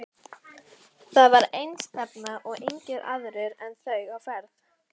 Þar var einstefna og engir aðrir en þau á ferð.